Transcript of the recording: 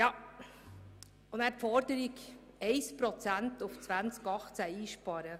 Dann die Forderung, im Jahr 2018 1 Prozent einzusparen.